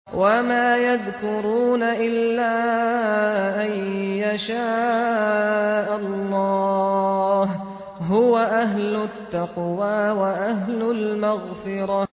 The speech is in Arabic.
وَمَا يَذْكُرُونَ إِلَّا أَن يَشَاءَ اللَّهُ ۚ هُوَ أَهْلُ التَّقْوَىٰ وَأَهْلُ الْمَغْفِرَةِ